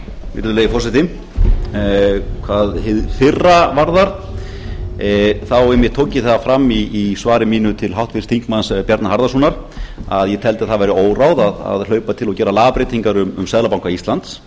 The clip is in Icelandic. virðulegi forseti hvað hið fyrra varðar þá einmitt tók ég það fram í svari mínu til háttvirts þingmanns bjarna harðarsonar að ég teldi að það væri óráð að hlaupa til og gera lagabreytingar um seðlabanka íslands